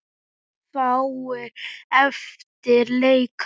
Munu fáir eftir leika.